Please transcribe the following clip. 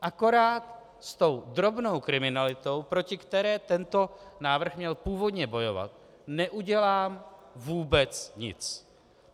Akorát s tou drobnou kriminalitou, proti které tento návrh měl původně bojovat, neudělám vůbec nic.